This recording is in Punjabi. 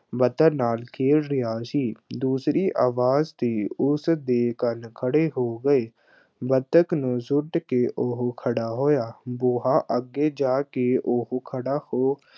ਬਤਕ ਨਾਲ ਖੇਡ ਰਿਹਾ ਸੀ, ਦੂਸਰੀ ਅਵਾਜ਼ ਤੇ ਉਸ ਦੇ ਕੰਨ ਖੜ੍ਹੇ ਹੋ ਗਏ, ਬਤਕ ਨੂੰ ਸੁੱਟ ਕੇ ਉਹ ਖੜ੍ਹਾ ਹੋਇਆ, ਬੂਹਾ ਅੱਗੇ ਜਾ ਕੇ ਉਹ ਖੜ੍ਹਾ ਹੋ